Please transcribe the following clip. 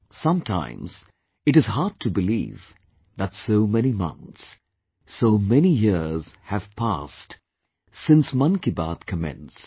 Sometimes it is hard to believe that so many months, so many years have passed since 'Mann Ki Baat' commenced